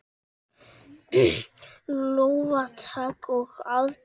Lófatak og aðdáun.